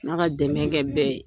Alla ka dɛmɛ kɛ bɛ ye.